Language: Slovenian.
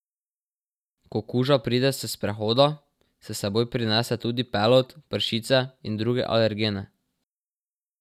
Ko kuža pride s sprehoda, s seboj prinese tudi pelod, pršice in druge alergene.